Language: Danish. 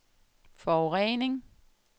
forurening